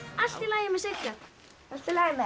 allt í lagi með Sigga allt í lagi með